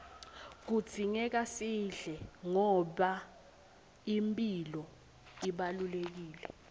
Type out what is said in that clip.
kudzingeka sidle ngoba imphilo ibalulekile